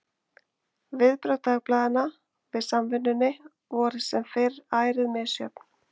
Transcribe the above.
Viðbrögð dagblaðanna við Samvinnunni voru sem fyrr ærið misjöfn.